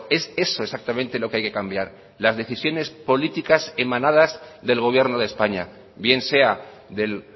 es eso exactamente lo que hay que cambiar las decisiones políticas emanadas del gobierno de españa bien sea del